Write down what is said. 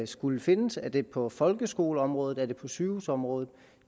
skal findes er det på folkeskoleområdet er det på sygehusområdet